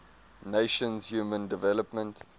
nations human development